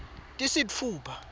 tisitfupha